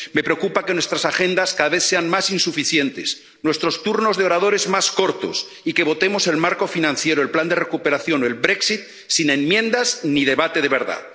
Me preocupa que nuestras agendas cada vez sean más insuficientes, nuestros turnos de oradores más cortos y que votemos el marco financiero, el plan de recuperación o el Brexit sin enmiendas ni debate de verdad.